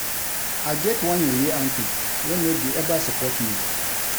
I get one yeye uncle wey no dey eva support me.